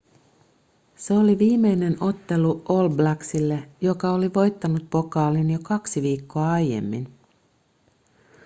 se oli viimeinen ottelu all blacksille joka oli voittanut pokaalin jo kaksi viikkoa aiemmin